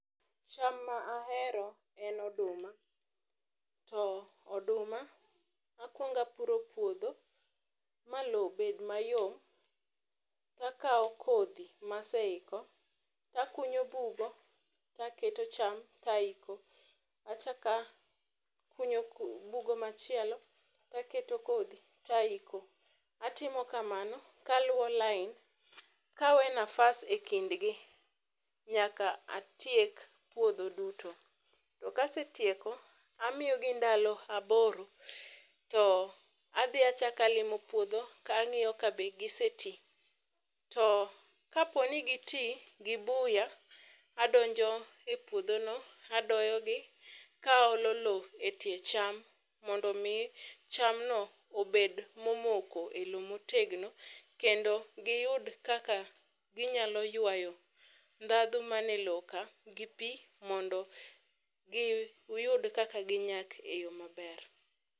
cham ma ahero en oduma .To oduma ,akuonga opuro puodho ma lowo bed mayom ,takawo kodhi maseiko, takunyo bugo taketo cham taiko . Achak akunyo bugo machielo , taketo kodhi taiko. Atimo kamano, kaluwo lain kawe nafas e kindgi, nyaka atiek puodho duto. To kasetieko ,amiyo gi ndalo aboro to adhi achak alimo puodho tang'iyo kabe gisetii. To kaponi gitii gi buya adonjo e puodho no adoyogi kaolo lowo e tie cham mondo mii chamno obed momoko e lowo motegno, kendo giyud kaka ginyalo ywayo ndhadhu man e lowo ka gi pii mondo giyud kaka ginyak e yoo maber.